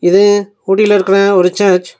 இது ஊட்டில இருக்கற ஒரு சர்ச் .